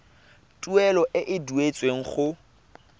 tuelo e e duetsweng go